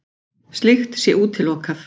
Slíkt sé útilokað